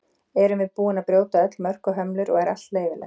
erum við búin að brjóta öll mörk og hömlur og er allt leyfilegt